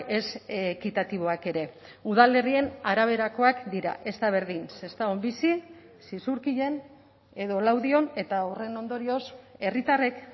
ez ekitatiboak ere udalerrien araberakoak dira ez da berdin sestaon bizi zizurkilen edo laudion eta horren ondorioz herritarrek